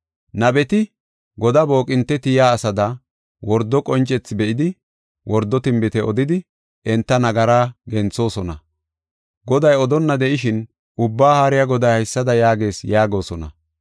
Nabeti godaa booqinte tiyiya asada, wordo qoncethi be7idi, wordo tinbite odidi enta nagaraa genthoosona. Goday odonna de7ishin, ‘Ubbaa Haariya Goday haysada yaagees’ yaagosona.